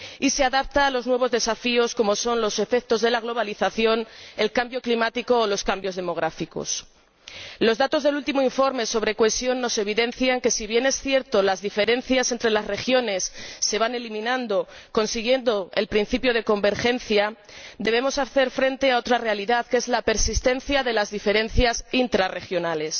Y se adapta a los nuevos desafíos, como son los efectos de la globalización, el cambio climático o los cambios demográficos. Los datos del último informe sobre cohesión evidencian que si bien es cierto que las diferencias entre las regiones se van eliminando, consiguiendo el principio de convergencia debemos hacer frente a otra realidad, que es la persistencia de las diferencias intrarregionales.